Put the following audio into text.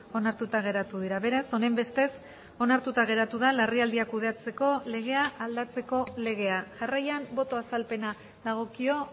onartuta geratu dira beraz honenbestez onartuta geratu da larrialdiak kudeatzeko legea aldatzeko legea jarraian boto azalpena dagokio